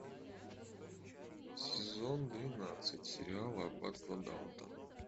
сезон двенадцать сериала аббатство даунтон